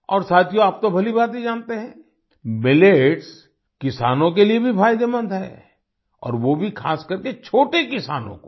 और साथियो आप तो भली भांति जानते हैं मिलेट्स किसानों के लिए भी फायदेमंद हैं और वो भी खास करके छोटे किसानों को